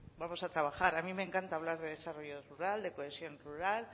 vamos a trabajar a mí me encanta hablar de desarrollo rural de cohesión rural